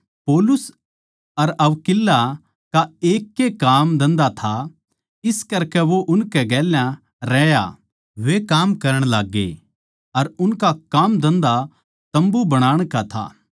पौलुस अर अक्विला का एक ए कामधन्धा था इस करकै वो उनकै गेल्या रहया अर वे काम करण लाग्गे अर उनका कामधन्धा तम्बू बनाण का था